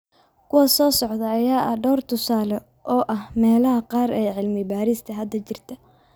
Kuwa soo socda ayaa ah dhowr tusaale oo ah meelaha qaar ee cilmi-baarista hadda jirta.